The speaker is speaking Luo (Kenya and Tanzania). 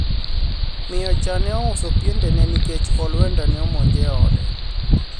miyo cha ne ouso piendene nikech olwenda ne omonje e ode